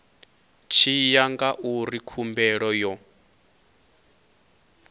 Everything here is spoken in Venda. tshi ya ngauri khumbelo yo